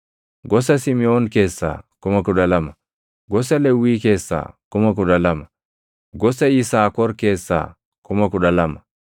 gosa Simiʼoon keessaa 12,000, gosa Lewwii keessaa 12,000, gosa Yisaakor keessaa 12,000,